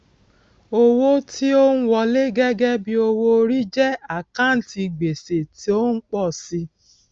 owó tí ó ń wọlé gẹgẹ bí owó orí jẹ àkántì gbèsè tó ń pọ sí i